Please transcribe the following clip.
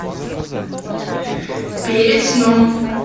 перед сном